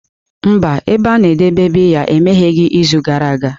Mba, ebe a na-edebe biya emegheghị izu gara aga.